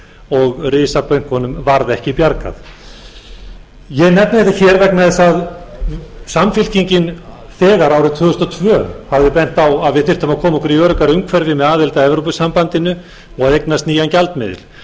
og risabönkunum varð ekki bjargað ég nefni þetta hér vegna þess að samfylkingin þegar árið tvö þúsund og tvö hafði bent á að við þyrftum að koma okkur í öruggara umhverfi með aðild að evrópusambandinu og að eignast nýjan gjaldmiðil